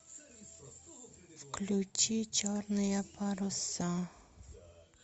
включи черные паруса